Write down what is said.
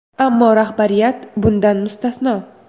Ammo rahbariyat bundan mustasno.